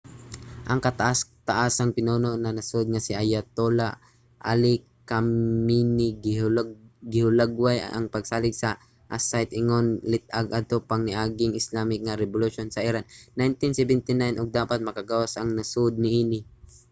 ang kataas-taasang pinuno sa nasud nga si ayatollah ali khamenei gihulagway ang pagsalig sa aseite ingon lit-ag adto pang niaging islamic nga rebolusyon sa iran sa 1979 ug dapat makagawas ang nasod niini